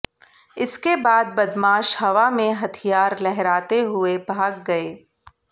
इसके बाद बदमाश हवा में हथियार लहराते हुए भाग गए